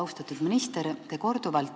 Austatud minister!